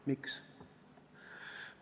Miks?